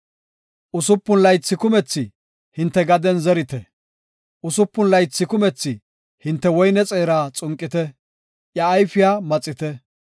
Usupun laythi kumethi hinte gaden zerite; usupun laythi kumethi hinte woyne xeera xunqite; iya ayfiya maxite.